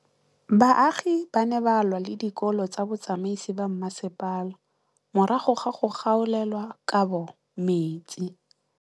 Baagi ba ne ba lwa le ditokolo tsa botsamaisi ba mmasepala morago ga go gaolelwa kabo metsi